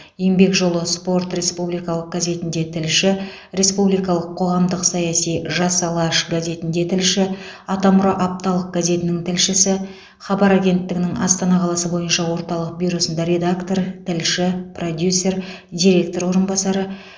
еңбек жолы спорт республикалық газетінде тілші республикалық қоғамдық саяси жас алаш газетінде тілші атамұра апталық газетінің тілшісі хабар агенттігінің астана қаласы бойынша орталық бюросында редактор тілші продюсер директор орынбасары